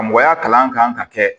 Karamɔgɔya kalan kan ka kɛ